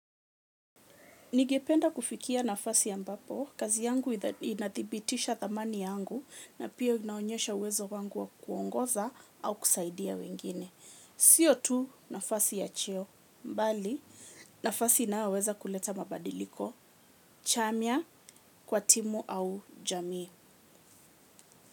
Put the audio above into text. Nigependa kufikia nafasi ambapo kazi yangu inadhibitisha thamani yangu na pia inaonyesha uwezo wangu wa kuongoza au kusaidia wengine. Sio tu nafasi ya cheo, bali nafasi inayoweza kuleta mabadiliko chanya kwa timu au jamii.